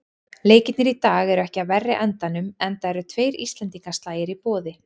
Leikirnir í dag eru ekki af verri endanum, enda eru tveir íslendingaslagir í boði.